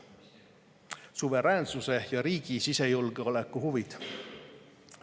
Suveräänsuse ja riigi sisejulgeoleku huvid.